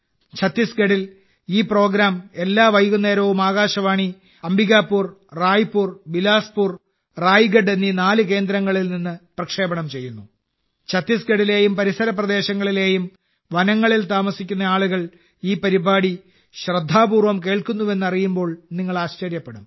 ഛത്തീസ്ഗഢിൽ ഈ പരിപാടി എല്ലാ വൈകുന്നേരവും ആകാശവാണി അംബികാപൂർ റായ്പൂർ ബിലാസ്പൂർ റായ്ഗഡ് എന്നീ നാല് കേന്ദ്രങ്ങളിൽ നിന്ന് പ്രക്ഷേപണം ചെയ്യപ്പെടുന്നു ഛത്തീസ്ഗഡിലെയും പരിസര പ്രദേശങ്ങളിലെയും വനങ്ങളിൽ താമസിക്കുന്ന ആളുകൾ ഈ പരിപാടി ശ്രദ്ധാപൂർവം കേൾക്കുന്നുവെന്നറിയുമ്പോൾ നിങ്ങൾ ആശ്ചര്യപ്പെടും